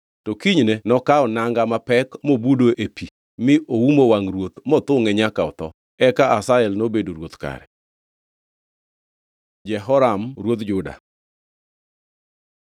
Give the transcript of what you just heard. To kinyne nokawo nanga mapek mobudo e pi, mi oumo wangʼ ruoth mothungʼe nyaka otho. Eka Hazael nobedo ruoth kare. Jehoram ruodh Juda